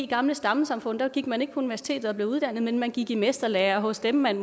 gamle stammesamfund gik man ikke på universitetet og blev uddannet men man gik måske i mesterlære hos dem man